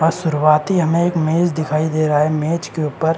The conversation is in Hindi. अ शुरुआती हमें एक मेज़ दिखाई दे रहा है। मेज़ के ऊपर--